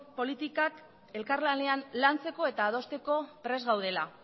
politikak elkarlanean lantzeko eta adosteko prest gaudela